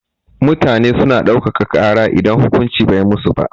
Mutane suna ɗauka ka kara idan hukuncin bai musu ba